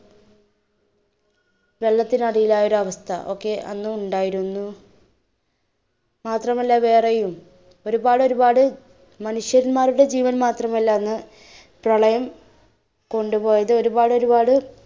വെള്ളത്തിനടിയിലായ ഒരു അവസ്ഥ ഒക്കെ അന്ന് ഉണ്ടായിരുന്നു. മാത്രമല്ല വേറെയും ഒരുപാട് ഒരുപാട് മനുഷ്യന്മാരുടെ ജീവൻ മാത്രമല്ല അന്ന് പ്രളയം കൊണ്ടുപോയത്, ഒരുപാട് ഒരുപാട്